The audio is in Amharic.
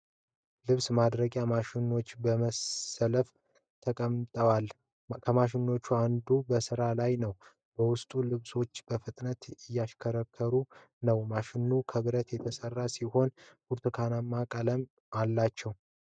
ልብስ ማድረቂያ ማሽኖች በመሰለፍ ተቀምጠዋል። ከማሽኖቹ አንዱ በሥራ ላይ ነው፣ ውስጡ ልብሶች በፍጥነት እየተሽከረከሩ ነው። ማሽኖቹ ከብረት የተሠሩ ሲሆኑ ብርቱካናማ ቀለም አላቸው።